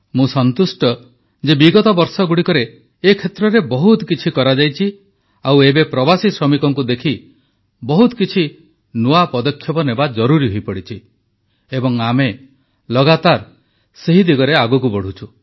ମୁଁ ସନ୍ତୁଷ୍ଟ ଯେ ବିଗତ ବର୍ଷଗୁଡ଼ିକରେ ଏ କ୍ଷେତ୍ରରେ ବହୁତ କିଛି କରାଯାଇଛି ଆଉ ଏବେ ପ୍ରବାସୀ ଶ୍ରମିକଙ୍କୁ ଦେଖି ବହୁତ କିଛି ନୂଆ ପଦକ୍ଷେପ ନେବା ଜରୁରୀ ହୋଇପଡ଼ିଛି ଏବଂ ଆମେ ଲଗାତାର ସେହି ଦିଗରେ ଆଗକୁ ବଢ଼ୁଛୁ